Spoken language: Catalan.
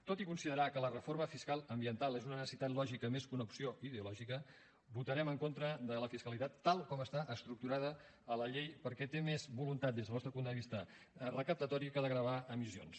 tot i considerar que la reforma fiscal ambiental és una necessitat lògica més que una opció ideològica votarem en contra de la fiscalitat tal com està estructurada a la llei perquè té més voluntat des del nostre punt de vista recaptatòria que de gravar emissions